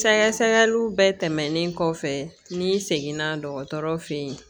Sɛgɛsɛgɛliw bɛɛ tɛmɛnen kɔfɛ n'i seginna dɔgɔtɔrɔ fe yen